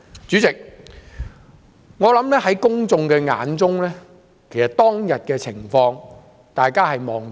主席，我相信公眾對當天的情況有目共睹。